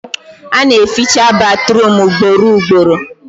Ana eficha batruum ugboro ugboro